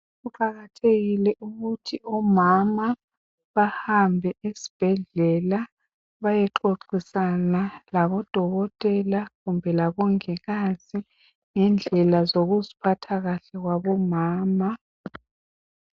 Kuqakathekile ukuthi omama bahambe esibhedlela baye xoxisana labo dokotela kumbe labongikazi ngendlela zokuzi phatha kahle kwabo mama.